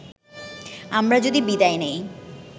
আমরা যদি বিদায় নেই